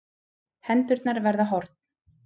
Hendurnar verða horn.